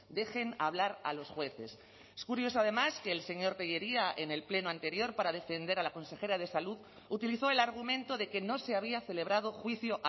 dejen hablar a los jueces es curioso además que el señor tellería en el pleno anterior para defender a la consejera de salud utilizó el argumento de que no se había celebrado juicio